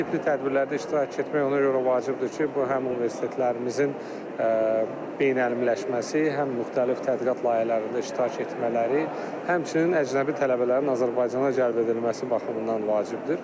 Bu tipli tədbirlərdə iştirak etmək ona görə vacibdir ki, bu həm universitetlərimizin beynəmləşməsi, həm müxtəlif tədqiqat layihələrində iştirak etmələri, həmçinin əcnəbi tələbələrin Azərbaycana cəlb edilməsi baxımından vacibdir.